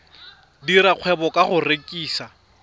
dira kgwebo ka go rekisa